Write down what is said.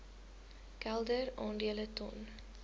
kelder aandele ton